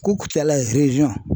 Ko Kucala